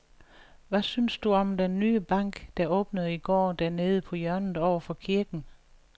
Hvad synes du om den nye bank, der åbnede i går dernede på hjørnet over for kirken?